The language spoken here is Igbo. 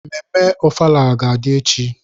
Mmemme ofala ga-adị echi.